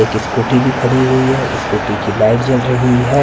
एक स्कूटी भी खड़ी हुई है स्कूटी की लाइट जल रही है --